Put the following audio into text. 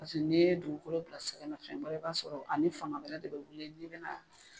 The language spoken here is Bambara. n' ye dugukolo bila sɛgɛnnafiɲɛbɔ i b'a sɔrɔ ani fanga wɛrɛ de bɛ wili n'i bɛna.